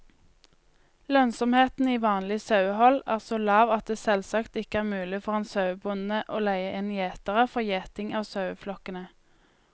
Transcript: Lønnsomheten i vanlig sauehold er så lav at det selvsagt ikke er mulig for en sauebonde å leie inn gjetere for gjeting av saueflokkene.